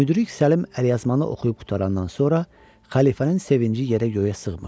Müdrik Səlim əlyazmanı oxuyub qurtarandan sonra xəlifənin sevinci yerə göyə sığmırdı.